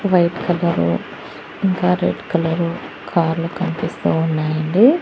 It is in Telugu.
వైట్ కలర్ ఇంకా రెడ్ కలర్ కార్లు కనిపిస్తూ ఉన్నాయి అండి.